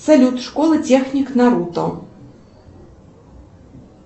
салют школа техник наруто